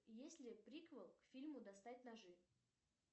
есть ли приквел к фильму достать ножи